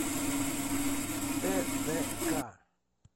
тдк